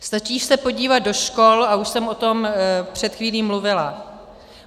Stačí se podívat do škol, a už jsem o tom před chvílí mluvila.